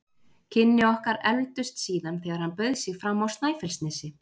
Kynni okkar efldust síðan þegar hann bauð sig fram á Snæfellsnesi.